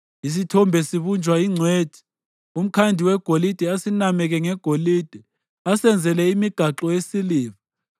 Isithombe sibunjwa yingcwethi, umkhandi wegolide asinameke ngegolide asenzele imigaxo yesiliva.